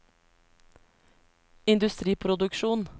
industriproduksjon